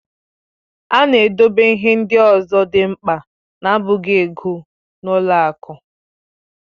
A na-edobe ihe ndị ọzọ dị mkpa na-abụghị ego n'ụlọ akụ.